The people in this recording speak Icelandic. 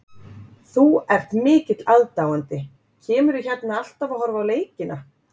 Þú ert mikill aðdáandi, kemurðu hérna alltaf að horfa á leikina?